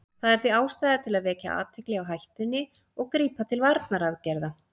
Það er því ástæða til að vekja athygli á hættunni og grípa til varnaraðgerða.